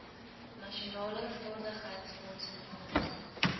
nasionale vaardigheidsfonds befonds